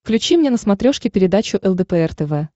включи мне на смотрешке передачу лдпр тв